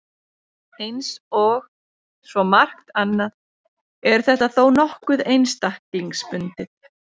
Eins og svo margt annað er þetta þó nokkuð einstaklingsbundið.